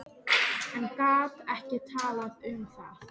En gat ekki talað um það.